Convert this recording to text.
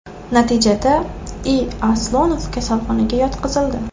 Natijada I. Aslonov kasalxonaga yotqizildi.